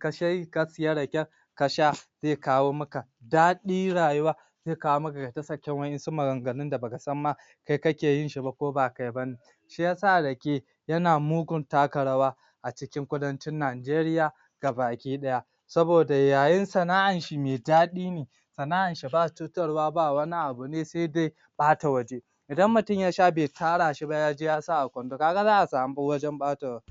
ka siya raken ka sha zai kawo maka daɗi rayuwa zai kawo maka ka kasance wa'yansu maganganun baka san ma kai kake yin shi ba ko ba kai ba ne shi ya sa Rake yana mugun taka rawa a cikin kudancin Nigaria gabaki ɗaya saboda yayin sana'ar shi me daɗi ne sana'arshi ba cutarwa ba wani abu ne sai dai ɓata waje idan mutum ya sha bai tara ba yaje ya sa a kwando ka ga za a samu wajen ɓata wuri